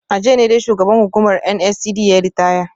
A jiya ne dai shugaban hukumar NSCDC yayi ritaya